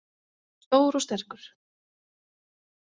Stór og sterkur.